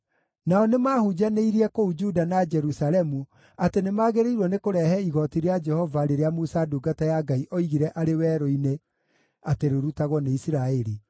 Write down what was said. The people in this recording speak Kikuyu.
Nao nĩmahunjanĩirie kũu Juda na Jerusalemu atĩ nĩmagĩrĩirwo nĩ kũrehe igooti rĩa Jehova rĩrĩa Musa ndungata ya Ngai oigire arĩ werũ-inĩ atĩ rĩrutagwo nĩ Isiraeli.